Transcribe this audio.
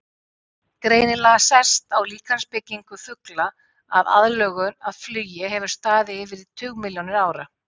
Greinilega sést á líkamsbyggingu fugla að aðlögun að flugi hefur staðið yfir í tugmilljónir ára.